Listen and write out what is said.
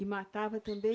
E matava também?